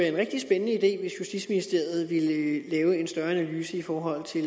en rigtig spændende idé hvis justitsministeriet ville lave en større analyse i forhold til